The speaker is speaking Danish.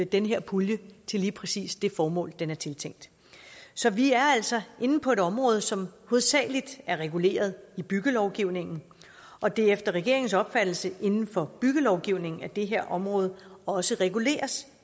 den her pulje til lige præcis det formål den er tiltænkt så vi er altså inde på et område som hovedsagelig er reguleret i byggelovgivningen og det er efter regeringens opfattelse inden for byggelovgivningen at det her område også reguleres